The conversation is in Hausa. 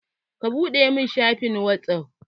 Ka buɗe mun shafin whatsaff!